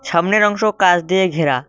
সামনের অংশ কাঁস দিয়ে ঘেরা।